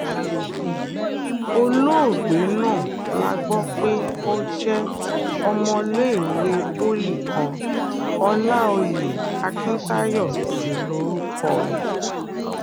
olóògbé náà la gbọ́ pé ó jẹ́ ọmọléèwé poli kan ọláòyè akiǹtayọ sí lórúkọ ẹ̀